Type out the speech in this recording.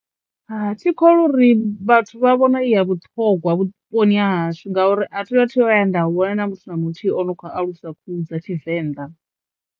Hai thikholwi uri vhathu vha vhona i ya vhuṱhongwa vhuponi hashu ngauri a thi thu vhuya nda vhona na muthu na muthihi ano kho alusa khuhu dza Tshivenḓa.